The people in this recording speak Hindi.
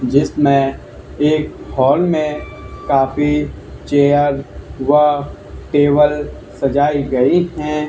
जिसमें एक हॉल में काफी चेयर व टेबल सजाई गई हैं।